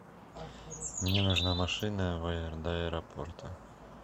мне нужна машина в до аэропорта